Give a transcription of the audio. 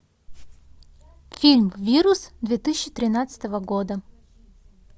фильм вирус две тысячи тринадцатого года